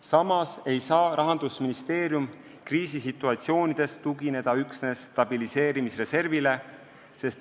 Samas ei saa Rahandusministeerium kriisisituatsioonides tugineda üksnes stabiliseerimisreservile.